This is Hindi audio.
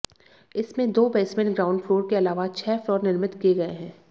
इसमें दो बेंसमेंट ग्राउंड फ्लोर के अलावा छह फ्लोर निर्मित किए गए हैं